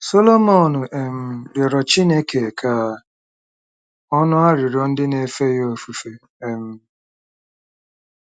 Solomọn um rịọrọ Chineke ka ọ nụ arịrịọ ndị na-efe ya ofufe um.